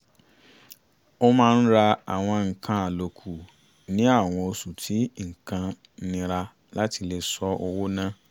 ó máa ń ra àwọn nǹkan àlòkù ni àwọn oṣù tí nǹkan nira láti lè ṣọ́ owó ná